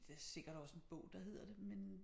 Der sikkert også en bog der hedder det men øh